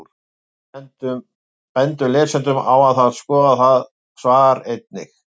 Við bendum lesendum á að skoða það svar einnig.